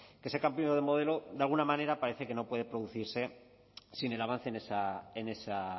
que ese cambio de modelo de alguna manera parece que no puede producirse sin el avance en esa